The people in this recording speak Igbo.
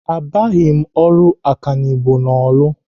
Abịaghị m ọrụ ọkanibo ahụ n'Orlu